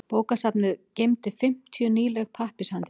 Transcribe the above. Bókasafnið geymdi fimmtíu nýleg pappírshandrit.